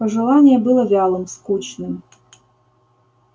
пожелание было вялым скучным